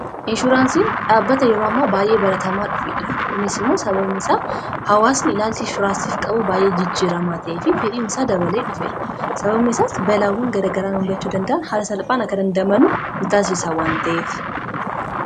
inshuraansiin dhaabbata yerammaa baa'ee balatamaa dhufeedha kunis immoo sabameisaa hawaasni ilaalcii furaasiif qabu baay'ee jijjiramaata'efi fediin isaa dabalee dhufeera sababmesaas balaawwan garagaraan umgachuu danda'an hala salphaan akadandamanuu mitaasisaa waanta'ef